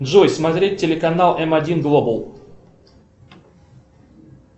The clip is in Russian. джой смотреть телеканал м один глобал